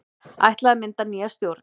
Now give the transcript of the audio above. Ætlað að mynda nýja stjórn